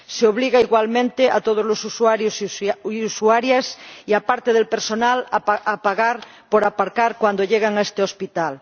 Se obliga, igualmente, a todos los usuarios y usuarias, y a parte del personal, a pagar por aparcar cuando llegan a este hospital.